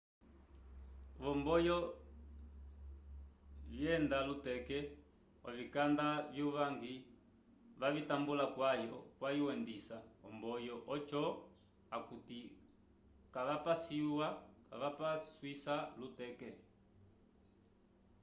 vo mboyo vyenda luteke ovikanda vyu vangi vavitambula kwayu endisa omboyo ojo akuti kavapaswisa luteke